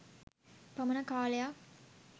පමණ කාලයක්.